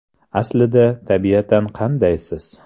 Aslida, tabiatan qandaysiz?